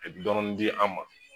dɔɔni dɔɔni di an ma.